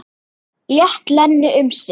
Lét Lenu um sitt.